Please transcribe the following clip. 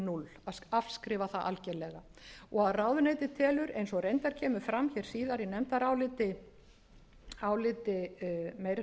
núll afskrifa það algerlega og ráðuneytið telur eins og reyndar kemur síðar fram í nefndaráliti meiri